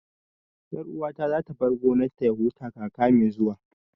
Ƴar uwata za ta bar gonar ta ya huta kaka mai zuwa